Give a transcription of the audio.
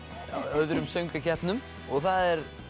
öðrum söngvakeppnum og það er